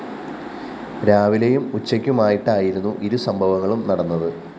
രാവിലെയും ഉച്ചയ്ക്കുമായിട്ടായിരുന്നു ഇരു സംഭവങ്ങളും നടന്നത്